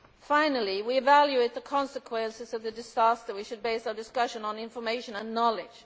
Finally, as we evaluate the consequences of the disaster, we should base our discussion on information and knowledge.